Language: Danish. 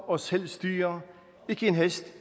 og selv styrer ikke en hest